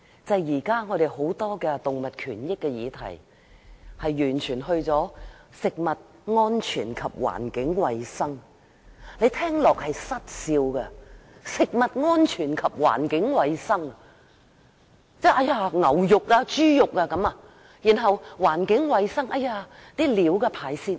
現時有關動物權益的議題屬於食物安全及環境衞生的範疇，這令人想笑，食物安全是否指牛肉、豬肉，環境衞生是否指飼料和排泄物？